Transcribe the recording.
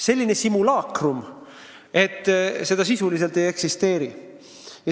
Selline simulaakrum, miski, mida sisuliselt ei eksisteeri.